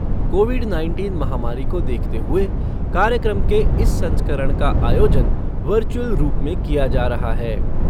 Covid nineteen महामारी को देखते हुए कार्यक्रम के इस संस्करण का आयोजन वर्चुअल रूप में किया जा रहा है।